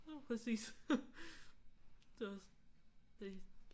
Præcis. Det er også det